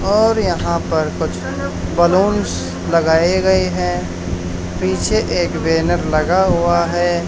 और यहां पर कुछ बलूंस लगाए गए हैं पीछे एक बैनर लगा हुआ है।